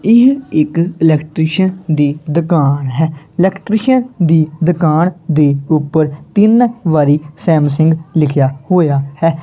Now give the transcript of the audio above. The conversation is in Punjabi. ਇਹ ਇੱਕ ਇਲੈਕਟਰੀਸ਼ਨ ਦੀ ਦੁਕਾਨ ਹੈ ਇਲੈਕਟਰੀਸ਼ਨ ਦੀ ਦੁਕਾਨ ਦੀ ਉੱਪਰ ਤਿੰਨ ਵਾਰੀ ਸੈਮਸੰਗ ਲਿਖਿਆ ਹੋਇਆ ਹੈ।